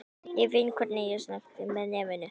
Hafi varla sést nýstárlegri myndgerð á Íslandi.